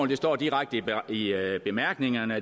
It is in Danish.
det står direkte i bemærkningerne